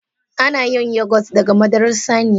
Ana yin Yogurt daga madarar saniya.